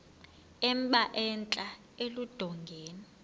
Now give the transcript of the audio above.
emba entla eludongeni